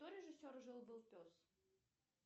кто режиссер жил был пес